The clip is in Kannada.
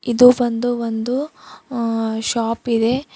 ಇದು ಬಂದು ಒಂದು ಅ ಶಾಪ್ ಇದೆ.